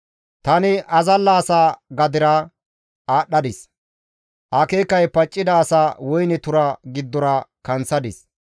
Tani azalla asa gadera aadhdhadis; akeekay paccida asa woyne tura giddora kanththadis.